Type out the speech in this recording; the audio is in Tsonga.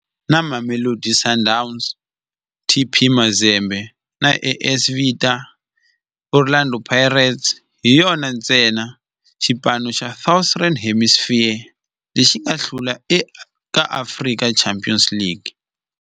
Na Mamelodi Sundowns, TP Mazembe na AS Vita, Orlando Pirates hi yona ntsena xipano xa Southern Hemisphere lexi nga hlula eka African Champions League.